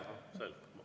Selge.